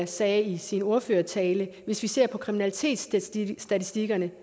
sagde i sin ordførertale hvis vi ser på kriminalitetsstatistikkerne